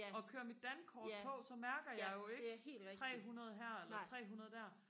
og kører mit dankort på så mærker jeg jo ikke trehundrede her eller trehundrede der